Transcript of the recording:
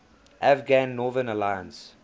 afghan northern alliance